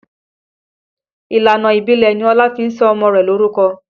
Ìlànà ìbílẹ̀ ni Ọlá fi sọ ọmọ rẹ̀ lorúkọ